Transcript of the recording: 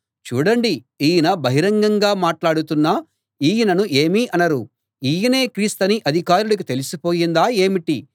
చూడండి ఈయన బహిరంగంగా మాట్లాడుతున్నా ఈయనను ఏమీ అనరు ఈయనే క్రీస్తని అధికారులకి తెలిసి పోయిందా ఏమిటి